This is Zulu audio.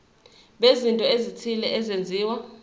bezinto ezithile ezenziwa